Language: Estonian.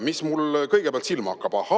Mis mulle kõigepealt silma hakkab?